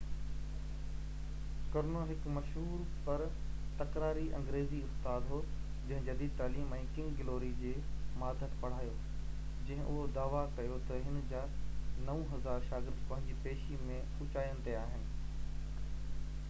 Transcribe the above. ڪرنو هڪ مشهور پر تڪراري انگريزي استاد هو جنهن جديد تعليم ۽ ڪنگ گلوري جي ماتحت پڙهايو جنهن اهو دعويٰ ڪيو تہ هن جا 9000 شاگرد پنهنجي پيشي ۾ اوچائين تي آهن